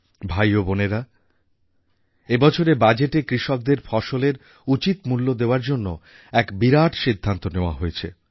ভাই ও বোনেরা এই বছরের বাজেটে কৃষকদের ফসলের উচিৎ মূল্য দেওয়ার জন্য এক বিরাট সিদ্ধান্ত নেওয়া হয়েছে